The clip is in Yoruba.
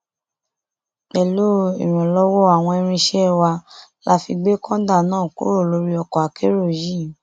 pẹlú ìrànlọwọ àwọn irinṣẹ wa la fi gbé kọńdà náà kúrò lórí ọkọ akérò yìí